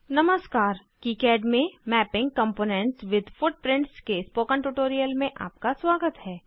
नमस्कार किकाड में mapping components with footprints के स्पोकन ट्यूटोरियल में आपका स्वागत है